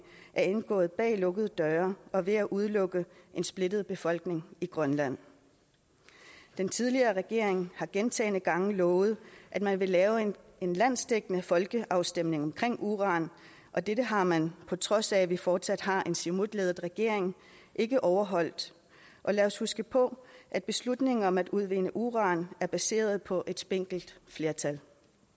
er indgået bag lukkede døre og ved at udelukke en splittet befolkning i grønland den tidligere regering har gentagne gange lovet at man vil lave en landsdækkende folkeafstemning om uran og dette har man på trods af at vi fortsat har en siumut ledet regering ikke overholdt og lad os huske på at beslutningen om at udvinde uran er baseret på et spinkelt flertal